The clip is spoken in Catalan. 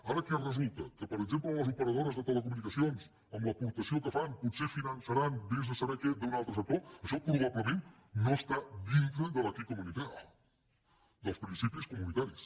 ara què resulta que per exemple les operadores de tele·comunicacions amb l’aportació que fan potser finan·çaran vés a saber què d’un altre sector això proba·blement no està dintre de l’principis comunitaris